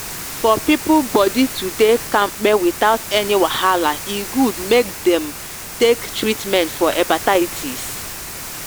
for people body to dey kampe without any wahala e good make they take treatment for hepatitis.